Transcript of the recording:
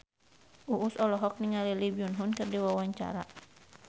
Uus olohok ningali Lee Byung Hun keur diwawancara